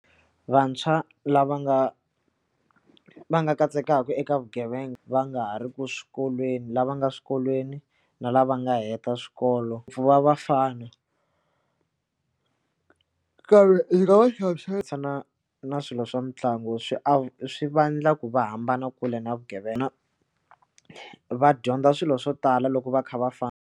Vantshwa lava nga va nga katsekaka eka vugevenga va nga ha riku swikolweni lava nga swikolweni na lava nga heta swikolo vafana nkarhi ndzi nga va na swilo swa mitlangu swi swi vandla ku va hambana kule na vugevenga na va dyondza swilo swo tala loko va kha va famba.